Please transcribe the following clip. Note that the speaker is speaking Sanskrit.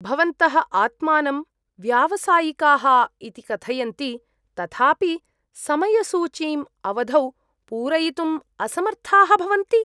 भवन्तः आत्मानं व्यावसायिकाः इति कथयन्ति तथापि समयसूचीम् अवधौ पूरयितुम् असमर्थाः भवन्ति।